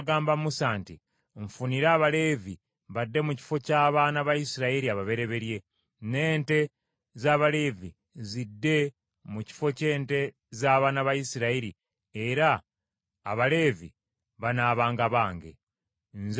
“Nfunira Abaleevi badde mu kifo ky’abaana ba Isirayiri ababereberye, n’ente z’Abaleevi zidde mu kifo ky’ente z’abaana ba Isirayiri, era Abaleevi banaabanga bange. Nze Mukama Katonda.